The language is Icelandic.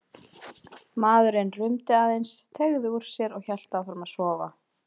Maðurinn rumdi aðeins, teygði úr sér og hélt áfram að sofa.